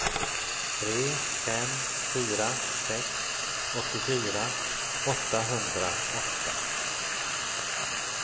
tre fem fyra sex åttiofyra åttahundraåtta